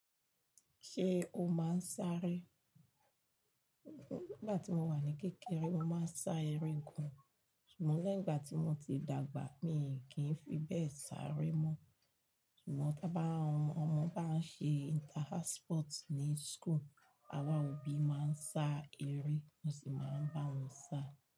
Ṣé o máa ń sáré? Nígbà tí mo wà ní kékeré, mo máa ń sá eré gan, ṣùgbọ́n lẹ́yìn ìgbà tí mo ti dàgbà mi kì í fi bẹ́ẹ̀ sáré mọ́. Ṣùgbọ́n tí ọmọ bá ń ṣe inter house sports ní school, àwa òbí máa ń sá eré, mo sì máa ń bá wọn sá.